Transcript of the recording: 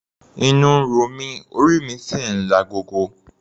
Inú ń ro mí, orí mi sì ń lagogo.